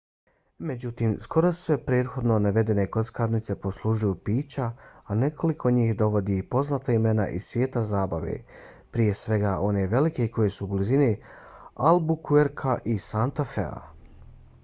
međutim skoro sve prethodno navedene kockarnice poslužuju pića a nekoliko njih dovodi i poznata imena iz svijeta zabave prije svega one velike koji su u blizini albuquerquea i santa fea